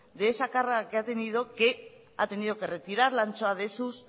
de esa carga que ha tenido que retirar la ancho de sus